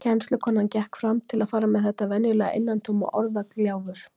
Kennslukonan gekk fram til að fara með þetta venjulega innantóma orðagjálfur.